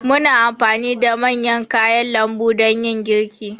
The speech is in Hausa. Muna anfani da man kayan lambu dan yin girki.